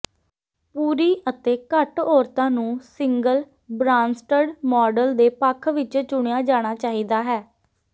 ਪੂਰੀ ਅਤੇ ਘੱਟ ਔਰਤਾਂ ਨੂੰ ਸਿੰਗਲ ਬਰਾਂਸਟਡ ਮਾਡਲ ਦੇ ਪੱਖ ਵਿਚ ਚੁਣਿਆ ਜਾਣਾ ਚਾਹੀਦਾ ਹੈ